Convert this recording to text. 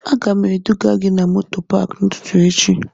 Aga m eduga gị moto paakị n'ụtụtụ echi